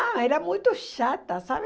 Ah, era muito chata, sabe?